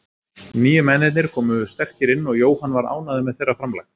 Nýju mennirnir komu sterkir inn og Jóhann var ánægður með þeirra framlag.